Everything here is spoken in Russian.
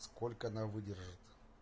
сколько она выдержит